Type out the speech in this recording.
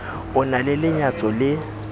o na le lenyatso le